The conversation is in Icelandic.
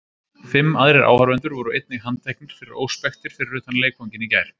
Fimm aðrir áhorfendur voru einnig handteknir fyrir óspektir fyrir utan leikvanginn í gær.